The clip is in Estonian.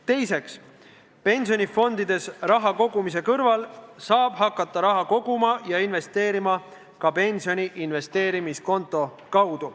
Teiseks, pensionifondidesse raha kogumise kõrval saab hakata pensioniraha koguma ja investeerima ka investeerimiskonto kaudu.